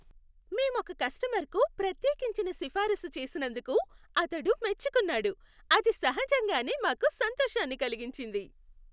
మేం ఒక కస్టమర్కు ప్రత్యేకించిన సిఫారసు చేసినందుకు అతడు మెచ్చుకున్నాడు, అది సహజంగానే మాకు సంతోషాన్ని కలిగించింది.